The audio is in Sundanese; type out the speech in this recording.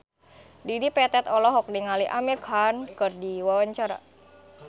Dedi Petet olohok ningali Amir Khan keur diwawancara